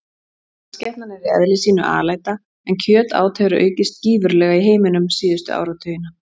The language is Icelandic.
Mannskepnan er í eðli sínu alæta en kjötát hefur aukist gífurlega í heiminum síðustu áratugina.